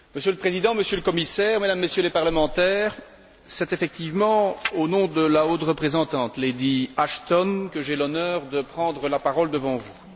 Monsieur le Président, Monsieur le Commissaire, Mesdames et Messieurs les parlementaires, c'est effectivement au nom de la haute représentante, Lady Ashton, que j'ai l'honneur de prendre la parole devant vous.